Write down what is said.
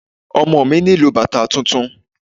Ọmọ mi nílò bàtà tuntun.